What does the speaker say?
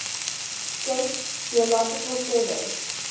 states geological survey